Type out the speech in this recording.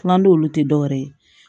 Kuma n'olu tɛ dɔwɛrɛ ye